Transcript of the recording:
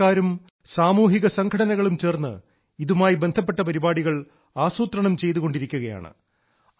സർക്കാരും സാമൂഹിക സംഘടനകളും ചേർന്ന് ഇതുമായി ബന്ധപ്പെട്ട പരിപാടികൾ ആസൂത്രണം ചെയ്തുകൊണ്ടിരിക്കുകയാണ്